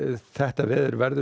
þetta veður verður